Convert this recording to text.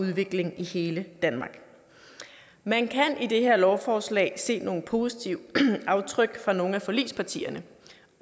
udvikling i hele danmark man kan i det her lovforslag se nogle positive aftryk fra nogle af forligspartierne